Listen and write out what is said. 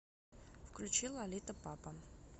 включи лолита папа